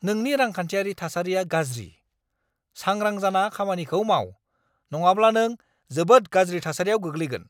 नोंनि रांखान्थियारि थासारिया गाज्रि! सांग्रां जाना खामानिखौ माव, नङाब्ला नों जोबोद गाज्रि थासारियाव गोग्लैगोन!